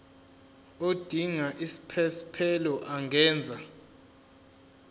odinga isiphesphelo angenza